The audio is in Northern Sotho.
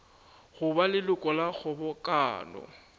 go ba leloko la kgobokano